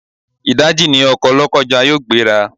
Ìdáji ni ọkọ̀ Lọ́kọ́ja yóò gbé ra.